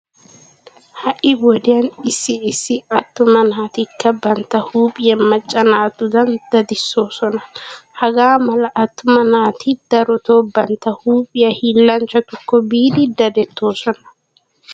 Ha"i wodiyan issi issi attuma naatikka bantta huuphiya macca naatudan dadisoosona. Hagaa mala attuma naati darotoo bantta huuphiya hiillanchchatukko biidi dadettoosona.